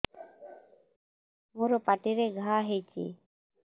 ମୋର ପାଟିରେ ଘା ହେଇଚି